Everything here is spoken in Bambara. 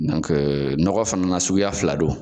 Nɔkɔ fana na suguya fila don.